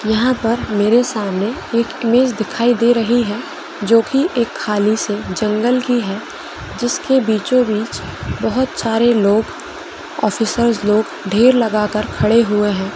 यह पर मेरे सामने एक इमेज दिखाई दे रहे है जो की एक खाली किसी जंगल की है जिसके बीचो बीच बहुत सारे लोग ऑफिसर्स लोग ढेर लगा खड़े हुए है।